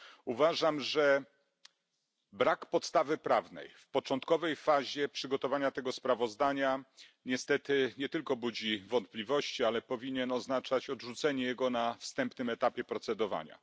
Uważam, że brak podstawy prawnej w początkowej fazie przygotowania tego sprawozdania, niestety nie tylko budzi wątpliwości, ale powinien oznaczać odrzucenie go na wstępnym etapie procedowania.